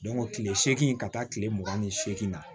kile seegin ka taa kile mugan ni segin na